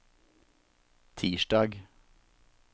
tirsdag